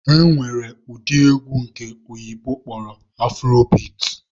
E nwere ụdị egwu nke ndị oyibo kpọrọ 'afrobeat'